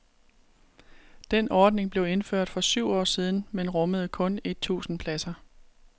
Den ordning blev indført for syv år siden, men rummede kun et tusind pladser.